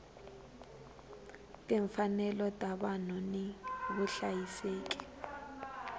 timfanelo ta vanhu ni vuhlayiseki